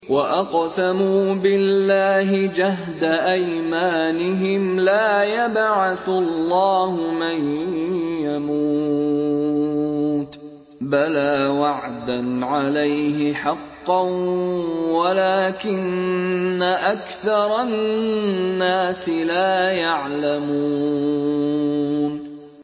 وَأَقْسَمُوا بِاللَّهِ جَهْدَ أَيْمَانِهِمْ ۙ لَا يَبْعَثُ اللَّهُ مَن يَمُوتُ ۚ بَلَىٰ وَعْدًا عَلَيْهِ حَقًّا وَلَٰكِنَّ أَكْثَرَ النَّاسِ لَا يَعْلَمُونَ